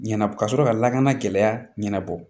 Ɲɛna ka sɔrɔ ka lakana gɛlɛya ɲɛnabɔ